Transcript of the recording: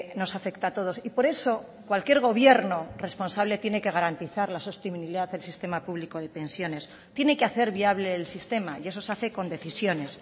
nos afecta a todos y por eso cualquier gobierno responsable tiene que garantizar la sostenibilidad del sistema público de pensiones tiene que hacer viable el sistema y eso se hace con decisiones